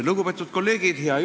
Lugupeetud kolleegid!